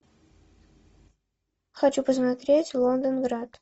хочу посмотреть лондонград